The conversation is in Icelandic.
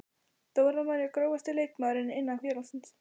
Dóra María Grófasti leikmaður innan félagsins?